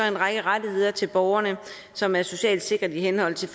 række rettigheder til borgerne som er socialt sikret i henhold til